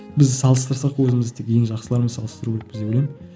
біз салыстырсақ өзімізді ең жақсылармен салыстыру керекпіз деп ойлаймын